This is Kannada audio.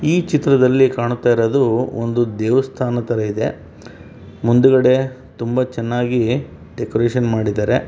ಈ ಚಿತ್ರದಲ್ಲಿ ನೋಡತಾ ಇರೋದು ಒಂದು ದೇವಸ್ಥಾನ ಥರ ಇದೆ ಮುಂದ್ಗಡೆ ತುಂಬ ಚೆನ್ನಾಗಿ ಡೆಕೋರೇಷನ್ ಮಾಡಿದರೆ .